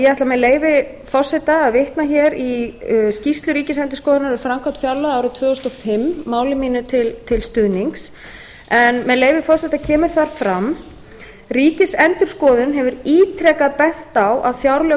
ætla með leyfi forseta að vitna hér í skýrslu ríkisendurskoðunar um framkvæmd fjárlaga árið tvö þúsund og fimm máli mínu til stuðnings með leyfi forseta kemur þar fram ríkisendurskoðun hefur ítrekað bent á að fjárlög